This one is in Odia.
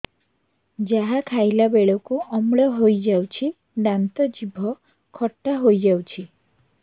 ଯାହା ଖାଇଲା ବେଳକୁ ଅମ୍ଳ ହେଇଯାଉଛି ଦାନ୍ତ ଜିଭ ଖଟା ହେଇଯାଉଛି